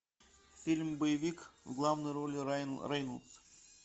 фильм боевик в главной роли райан рейнольдс